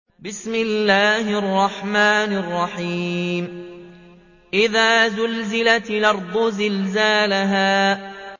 إِذَا زُلْزِلَتِ الْأَرْضُ زِلْزَالَهَا